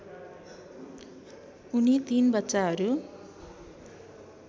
उनी तीन बच्चाहरू